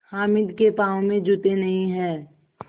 हामिद के पाँव में जूते नहीं हैं